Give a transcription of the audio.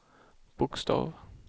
bokstav